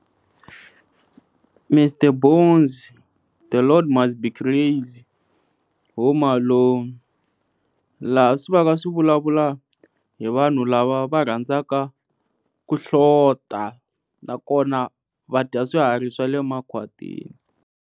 Mr Bones, The Lord Must Be Crazy, Home Alone, laha swi vaka swi vulavula hi vanhu lava va rhandzaka ku hlota nakona va dya swiharhi swa le makhwatini.